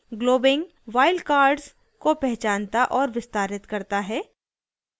* globbing wild cards को पहचानता और विस्तारित करता है